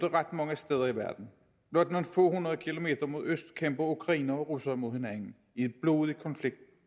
ret mange steder i verden blot nogle få hundrede kilometer mod øst kæmper ukrainere og russere mod hinanden i en blodig konflikt